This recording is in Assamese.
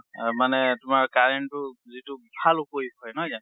মানে তোমাৰ current টো যিটো ভাল উপয়োগ হয়, নহয় জানো?